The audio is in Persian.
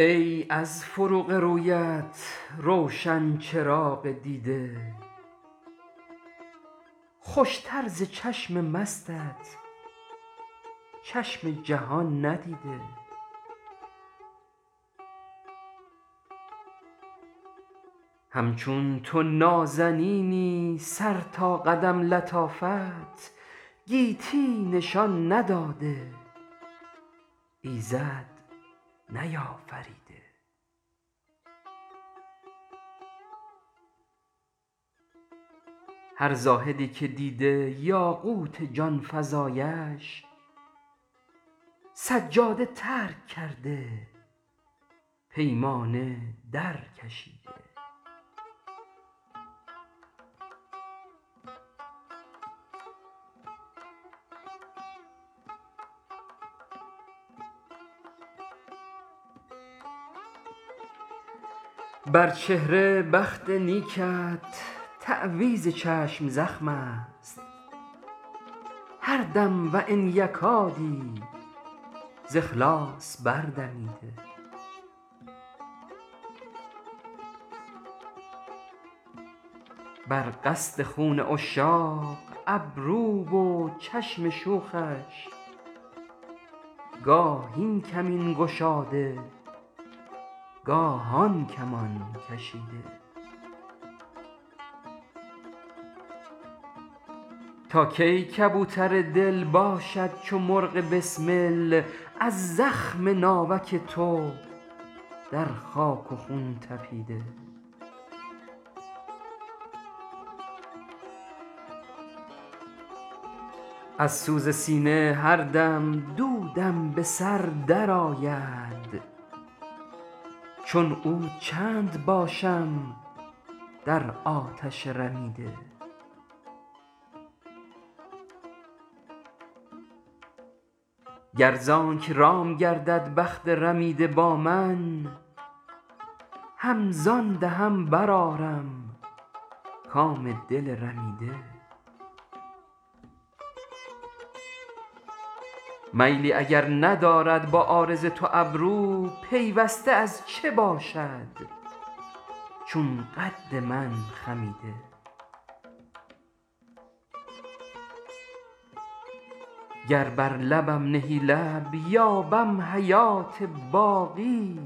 ای از فروغ رویت روشن چراغ دیده خوش تر ز چشم مستت چشم جهان ندیده همچون تو نازنینی سر تا قدم لطافت گیتی نشان نداده ایزد نیافریده هر زاهدی که دیده یاقوت جان فزایش سجاده ترک کرده پیمانه در کشیده بر چهره بخت نیکت تعویذ چشم زخم است هر دم و ان یکادی ز اخلاص بردمیده بر قصد خون عشاق ابرو و چشم شوخش گاه این کمین گشاده گاه آن کمان کشیده تا کی کبوتر دل باشد چو مرغ بسمل از زخم ناوک تو در خاک و خون تپیده از سوز سینه هر دم دودم به سر درآید چون عود چند باشم در آتش رمیده گر زآنک رام گردد بخت رمیده با من هم زان دهن برآرم کام دل رمیده میلی اگر ندارد با عارض تو ابرو پیوسته از چه باشد چون قد من خمیده گر بر لبم نهی لب یابم حیات باقی